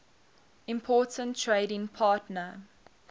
important trading partner